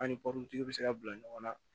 An ni bɛ se ka bila ɲɔgɔn na